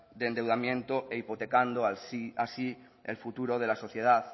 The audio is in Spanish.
de endeudamiento e hipotecando así el futuro de la sociedad